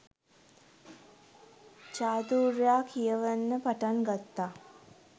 චාතුර්යා කියවන්න පටන් ගත්තා